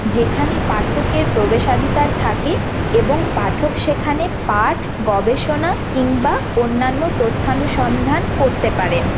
যেখানে পাঠকের প্রবেশাধিকার থাকে এবং পাঠক সেখানে পাঠ গবেষণা কিংবা অন্যানো তথ্য অনুসন্ধান করতে পারেন ।